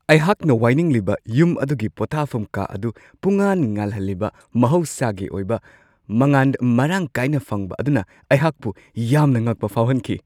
ꯑꯩꯍꯥꯛꯅ ꯋꯥꯏꯅꯤꯡꯂꯤꯕ ꯌꯨꯝ ꯑꯗꯨꯒꯤ ꯄꯣꯊꯥꯐꯝ ꯀꯥ ꯑꯗꯨ ꯄꯨꯡꯉꯥꯟ-ꯉꯥꯜꯍꯜꯂꯤꯕ ꯃꯍꯧꯁꯥꯒꯤ ꯑꯣꯏꯕ ꯃꯉꯥꯟ ꯃꯔꯥꯡ ꯀꯥꯏꯅ ꯐꯪꯕ ꯑꯗꯨꯅ ꯑꯩꯍꯥꯛꯄꯨ ꯌꯥꯝꯅ ꯉꯛꯄ ꯐꯥꯎꯍꯟꯈꯤ ꯫